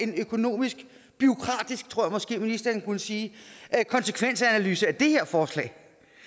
en økonomisk bureaukratisk tror jeg måske ministeren kunne sige konsekvensanalyse af det her forslag for